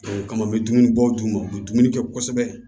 O kama n bɛ dumunibɔ d'u ma u bɛ dumuni kɛ kosɛbɛ